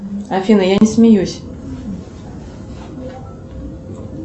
афина я не смеюсь